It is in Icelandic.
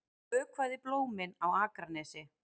Ég vökvaði blómin á Akranesi.